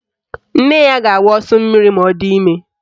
Nne ya ga-agbụ ọsọ mmiri ma ọ di ime